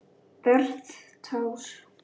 Verð tár.